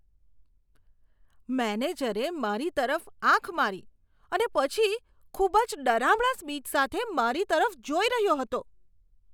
મેનેજરે મારી તરફ આંખ મારી અને પછી ખૂબ જ ડરામણા સ્મિત સાથે મારી તરફ જોઈ રહ્યો હતો.